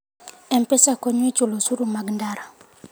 M-Pesa konyo e chulo osuru mag ndara.